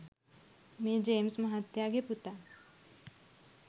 මේ ජේම්ස් මහත්තයාගේ පුතා